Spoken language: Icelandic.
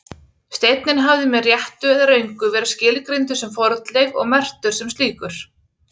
Steinninn hafði með réttu eða röngu verið skilgreindur sem fornleif og merktur sem slíkur.